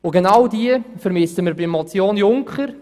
Und genau diese vermissen wir bei der Motion Junker.